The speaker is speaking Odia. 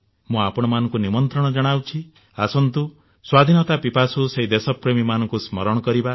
ମୁଁ ଆପଣମାନଙ୍କୁ ନିମନ୍ତ୍ରଣ ଜଣାଉଛି ଆସନ୍ତୁ ସ୍ୱାଧୀନତା ସଂଗ୍ରାମର ସେଇ ଦେଶପ୍ରେମୀମାନଙ୍କୁ ସ୍ମରଣ କରିବା